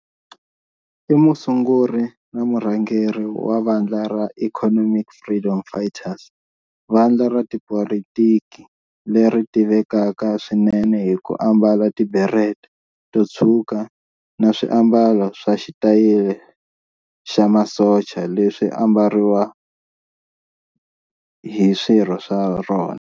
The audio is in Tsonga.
I musunguri na murhangeri wa vandla ra Economic Freedom Fighters, vandla ra tipolitiki leri tivekaka swinene hi ku ambala tiberet to tshwuka na swiambalo swa xitayili xa masocha leswi ambariwa hi swirho swa rona.